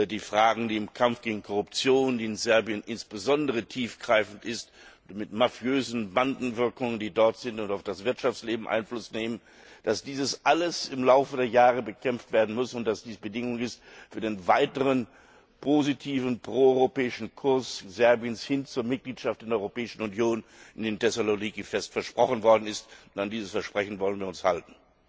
den Fragen im Kampf gegen Korruption, die insbesondere in Serbien besonders tiefgreifend ist, mit mafiösen Bandenwirkungen, die dort sind und auf das Wirtschaftsleben Einfluss nehmen, dies alles im Lauf der Jahre bekämpft werden muss und das Bedingung ist für den weiteren positiven proeuropäischen Kurs Serbiens hin zur Mitgliedschaft in der Europäischen Union, wie ihnen in Thessaloniki fest versprochen worden ist, und an dieses Versprechen wollen wir uns halten.